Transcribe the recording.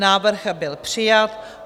Návrh byl přijat.